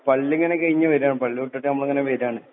ആ പള്ളിയിങ്ങനെ കിഴിഞ്ഞു വരുകയാണ്. പള്ളിവിട്ടിട്ട് നമ്മളിങ്ങനെ വരുകയാണ്.